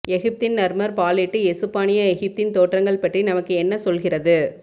எகிப்தின் Narmer palette எசுப்பானிய எகிப்தின் தோற்றங்கள் பற்றி நமக்கு என்ன சொல்கிறது